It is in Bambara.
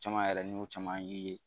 Caman yɛrɛ ni y'o caman yir'i ye